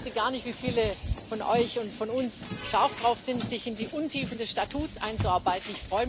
Ich wusste gar nicht, wie viele von euch und von uns scharf darauf sind, sich in die Untiefen des Statuts einzuarbeiten.